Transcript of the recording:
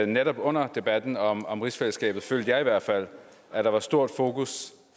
netop under debatten om om rigsfællesskabet følte jeg i hvert fald at der var stort fokus